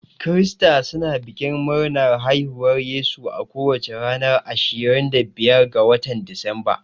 Krista suna bikin murnar haihuwar Yesu a kowace ranar ashirin da biyar ga watan disamba.